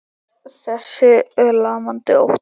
Þessi lamandi ótti.